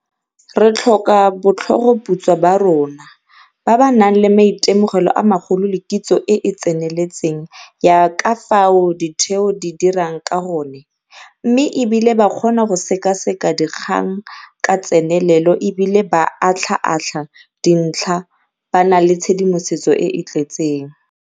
Re tlhoka botlhogoputswa ba rona, ba ba nang le maitemogelo a magolo le kitso e e tseneletseng ya ka fao ditheo di dirang ka gone, mme e bile ba kgona go sekaseka dikgang ka tsenelelo e bile ba atlhaatlha dintlha ba na le tshedimosetso e e tletseng.